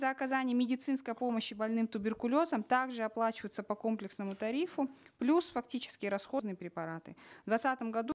за оказание медицинской помощи больным туберкулезом также оплачиваются по комплексному тарифу плюс фактический расход на препараты в двадцатом году